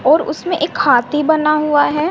और उसमें एक हाथी बना हुआ हैं।